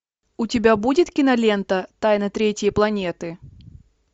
у тебя будет кинолента тайна третьей планеты